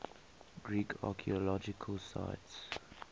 greek archaeological sites